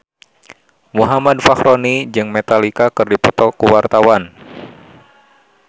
Muhammad Fachroni jeung Metallica keur dipoto ku wartawan